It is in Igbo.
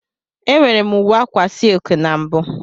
Enwere m uwe akwa silki na mbụ.